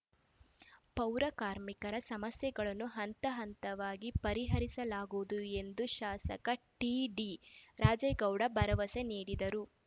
ಪೌರ ಕಾರ್ಮಿಕರ ಸಮಸ್ಯೆಗಳನ್ನು ಹಂತ ಹಂತವಾಗಿ ಪರಿಹರಿಸಲಾಗುವುದು ಎಂದು ಶಾಸಕ ಟಿಡಿ ರಾಜೇಗೌಡ ಭರವಸೆ ನೀಡಿದರು